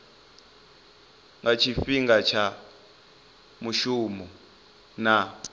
nga tshifhinga tsha mushumo na